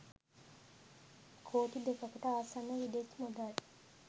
කෝටි දෙකකට ආසන්න විදෙස් මුදල්